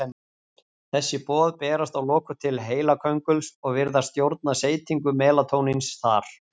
Þessi boð berast að lokum til heilakönguls og virðast stjórna seytingu melatóníns þar.